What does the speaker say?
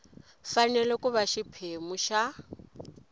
fanele ku va xiphemu xa